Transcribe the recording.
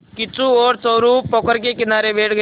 किच्चू और चोरु पोखर के किनारे बैठ गए